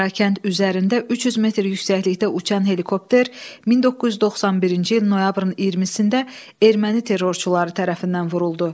Qarakənd üzərində 300 metr yüksəklikdə uçan helikopter 1991-ci il noyabrın 20-də erməni terrorçuları tərəfindən vuruldu.